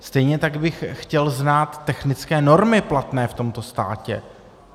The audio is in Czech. Stejně tak bych chtěl znát technické normy platné v tomto státě.